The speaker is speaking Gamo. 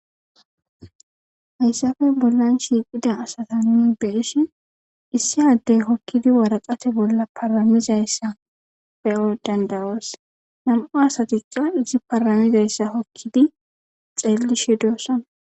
Hayssafe bollan shiiqida asata ni beishin issi addey hokkidi waraqate bolla paramizayssa pe'o dandaroos nam'u asatiqa izi paramizayssa hokkidi xeeli she doossana.